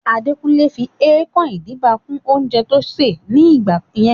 Adekunle fi ẹkan-idiba kún oúnjẹ tó ṣè ní gbà yẹn